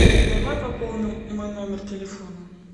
давай пополним мой номер телефона